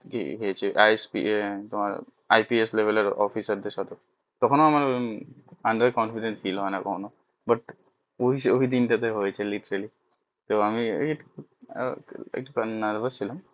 হয়েছে IPS লেবেলের officer দেড় সাথে তখোনো আমার under confidant feel হয়না কখনো but ওইদিন টা তে হয়েছিল literally তো আমি একটু nerves ছিলাম